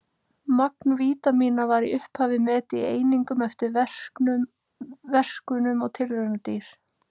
Magn vítamína var í upphafi metið í einingum eftir verkunum á tilraunadýr.